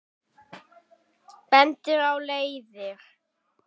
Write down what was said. Bendir á leiðir.